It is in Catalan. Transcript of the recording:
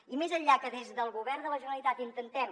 i més enllà que des del govern de la generalitat intentem